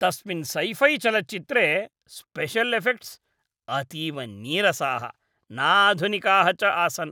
तस्मिन् सैफ़ैचलच्चित्रे special effects अतीव नीरसाः, नाधुनिकाः च आसन्।